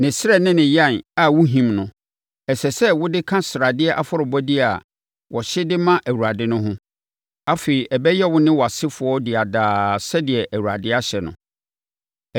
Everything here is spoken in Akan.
Ne srɛ ne ne yan a wohim no, ɛsɛ sɛ wɔde ka sradeɛ afɔrebɔdeɛ a wɔhye de ma Awurade no ho. Afei ɛbɛyɛ wo ne wʼasefoɔ dea daa sɛdeɛ Awurade ahyɛ no.”